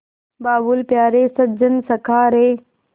बाबुल प्यारे सजन सखा रे